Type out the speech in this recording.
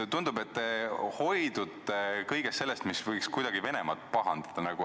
Tundub, et te hoidute kõigest sellest, mis võiks kuidagi Venemaad pahandada.